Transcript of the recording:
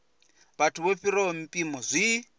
vhathu vho fhiraho mpimo zwi